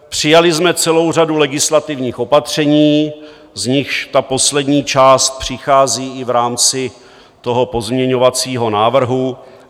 Přijali jsme celou řadu legislativních opatření, z nichž ta poslední část přichází i v rámci toho pozměňovacího návrhu.